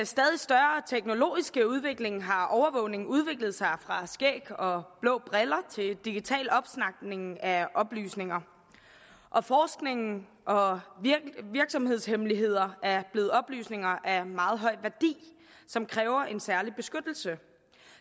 stadig større teknologiske udvikling har overvågning udviklet sig fra skæg og blå briller til digital opsnapning af oplysninger og forskning og virksomhedshemmeligheder er blevet oplysninger af meget høj værdi som kræver en særlig beskyttelse